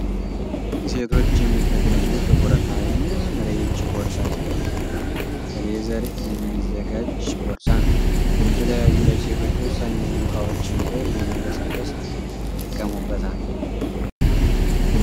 ሴቶች የሚጠቀሙት ጥቁርና የሚያምር የእጅ ቦርሳ ሲሆን ከሌዘር የሚዘጋጅ ቦርሳ ነው ። የተለያዮ ለሴቶች ወሳኝ የሆኑ እቃወችን ይዘው ለመንቀሳቀስ ይጠቀሚበታል ።